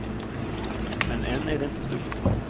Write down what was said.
Men än är det inte slut.